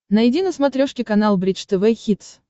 найди на смотрешке канал бридж тв хитс